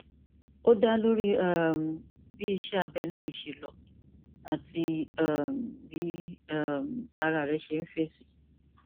ó dá lórí um bí iṣẹ abẹ náà ṣe lọ àti um bí um ara rẹ ṣe ń fèsì